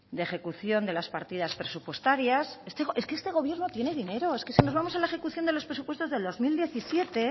de ejecución de las partidas presupuestarias es que este gobierno tiene dinero es que si nos vamos a la ejecución de los presupuestos del dos mil diecisiete